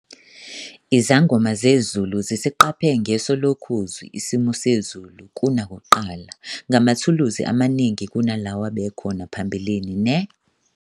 Izangoma zezulu zisiqaphe ngeso lokhozi isimo sezulu kunakuqala ngamathuluzi amaningi kunalawo abekhona phambilini, ne